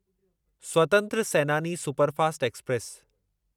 स्वतंत्र Senani superfast express